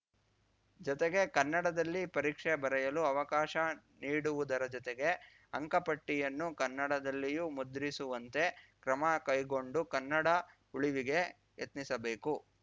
ಜೊತೆಗೆ ಕನ್ನಡದಲ್ಲಿ ಪರೀಕ್ಷೆ ಬರೆಯಲು ಅವಕಾಶ ನೀಡುವುದರ ಜೊತೆಗೆ ಅಂಕಪಟ್ಟಿಯನ್ನು ಕನ್ನಡದಲ್ಲಿಯೂ ಮುದ್ರಿಸುವಂತೆ ಕ್ರಮ ಕೈಗೊಂಡು ಕನ್ನಡ ಉಳಿವಿಗೆ ಯತ್ನಿಸಬೇಕು